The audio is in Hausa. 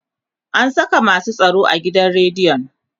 an Saka masu tsaro a gidan rediyon